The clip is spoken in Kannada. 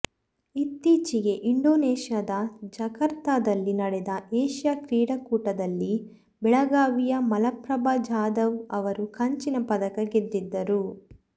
ಇತ್ತೀಚೆಗೆ ಇಂಡೋನೇಷ್ಯಾದ ಜಕಾರ್ತದಲ್ಲಿ ನಡೆದ ಏಷ್ಯಾ ಕ್ರೀಡಾಕೂಟದಲ್ಲಿ ಬೆಳಗಾವಿಯ ಮಲಪ್ರಭಾ ಜಾಧವ ಅವರು ಕಂಚಿನ ಪದಕ ಗೆದ್ದಿದ್ದರು